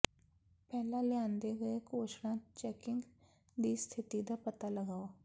ਪਹਿਲਾਂ ਲਿਆਂਦੇ ਗਏ ਘੋਸ਼ਣਾ ਚੈਕਿੰਗ ਦੀ ਸਥਿਤੀ ਦਾ ਪਤਾ ਲਗਾਓ